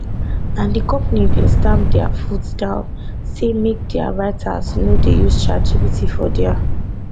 and di company bin stamp dia foot down say make dia writers no dey use chat gpt for dia